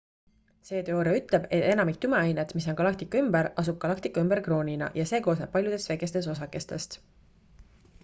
see teooria ütleb et enamik tumeainet mis on galaktika ümber asub galaktika ümber kroonina ja see koosneb paljudest väikestest osakestest